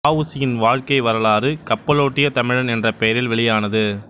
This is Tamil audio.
வ உ சி யின் வாழ்க்கை வரலாறு கப்பலோட்டிய தமிழன் என்ற பெயரில் வெளியானது